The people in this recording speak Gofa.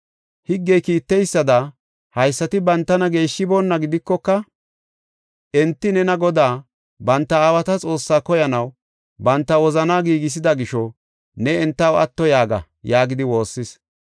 higgey kiitteysada haysati bantana geeshshonnaba gidikoka enti nena Godaa, banta aawata Xoossaa koyanaw banta wozanaa giigisida gisho ne entaw atto yaaga” yaagidi woossis.